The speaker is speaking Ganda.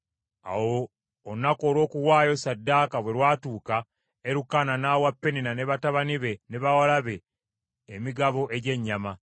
Awo olunaku olw’okuwaayo ssaddaaka bwe lwatuuka, Erukaana, n’awa Penina ne batabani be, ne bawala be emigabo egy’ennyama.